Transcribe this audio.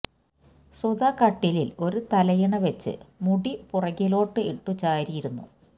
സുധ കട്ടിലിൽ ഒരു തലയിണ വെച്ച് മുടി പുറകിലോട്ടു ഇട്ടു ചാരി ഇരുന്നു